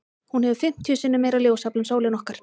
Hún hefur fimmtíu sinnum meira ljósafl en sólin okkar.